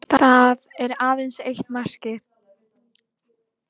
Lúther lagði um leið fram nýja túlkun á Biblíunni.